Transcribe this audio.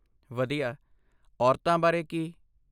ਵਧੀਆ। ਔਰਤਾਂ ਬਾਰੇ ਕੀ?